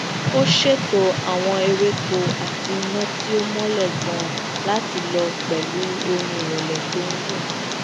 ó ṣètò àwọn ewéko àti ina ti o mọlẹ ganan lati lọ pẹlu orin irẹlẹ to n dun